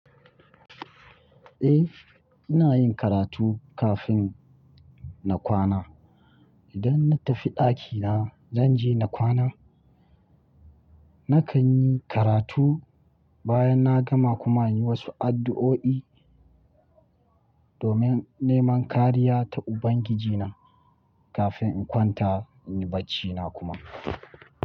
Eh, ina yin karatu kafin na kwana. Idan na tafi ɗakina, zan je na kwana. Nakan yi karatu bayan na gama kuma in yi wasu addu'o'i domin neman kariya ta Ubangijina kafin in kwanta in yi baccina kuma.